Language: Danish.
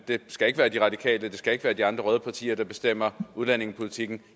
skal ikke være de radikale det skal ikke være de andre røde partier der bestemmer udlændingepolitikken